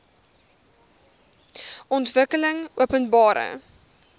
ontwikkelingopenbare